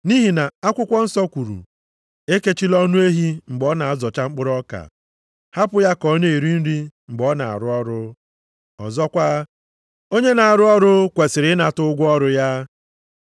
Nʼihi na akwụkwọ nsọ kwuru, “Ekechila ọnụ ehi mgbe ọ na-azọcha mkpụrụ ọka,” + 5:18 \+xt Dit 25:4\+xt* hapụ ya ka ọ na-eri nri mgbe ọ na-arụ ọrụ, ọzọkwa, “Onye na-arụ ọrụ kwesiri ịnata ụgwọ ọrụ ya.” + 5:18 \+xt Luk 10:7\+xt*